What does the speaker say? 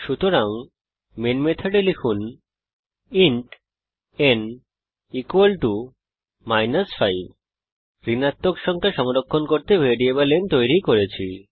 সুতরাং মেন মেথডে লিখুন ইন্ট n মাইনাস 5 ঋণাত্মক সংখ্যা সংরক্ষণ করতে ভ্যারিয়েবল n তৈরী করেছি